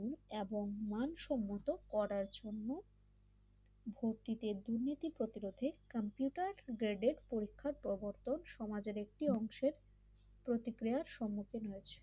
এবং মানসম্মত করার জন্য ভক্তিদের দুর্নীতি প্রতিরোধে কম্পিউটার গ্রেড পরীক্ষার প্রবর্তন সমাজের একটি অংশের প্রতিক্রিয়া সম্মুখীন হয়েছে।